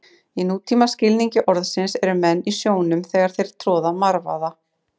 Í nútíma skilningi orðsins eru menn í sjónum þegar þeir troða marvaða.